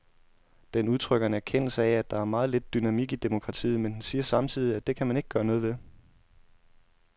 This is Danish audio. Den udtrykker en erkendelse af, at der er meget lidt dynamik i demokratiet, men den siger samtidig, at det kan man ikke gøre noget ved.